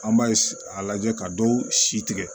An b'a a lajɛ ka dɔw si tigɛ